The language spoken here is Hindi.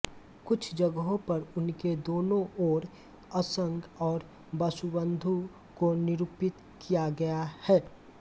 कुछ जगहों पर उनके दोनों ओर असंग और वसुबन्धु को निरूपित किया गया है